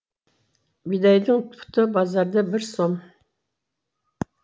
бидайдың пұты базарда бір сом